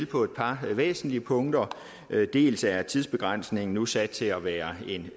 på et par væsentlige punkter dels er tidsbegrænsningen nu sat til at være